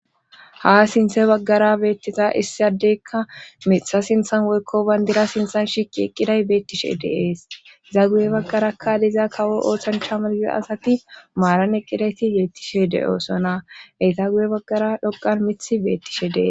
Ha sinthe baggara beettita issiadeykka mixha sinthan woykkoban dira sinthan shiqi eqqiday beettishe deees iza guye baggarakka diza kawo ooththan shamalyo'o asati maaran eqqidayti yeettishe de'oosona eyta guye baggara dhoqan mith beettishe dee.